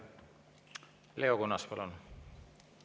Leo Kunnas, palun!